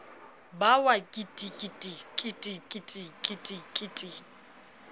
ba wa kitikiti kitikiti kitikiti